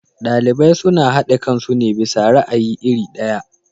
Ɗalibai suna haɗe kansu ne bisa ra'ayi iri ɗaya.